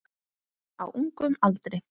Á ungum aldri.